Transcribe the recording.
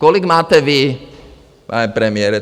Kolik máte vy, pane premiére?